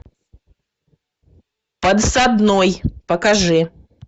подсадной покажи